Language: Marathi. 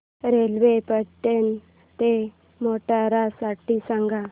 रेल्वे पाटण ते मोढेरा साठी सांगा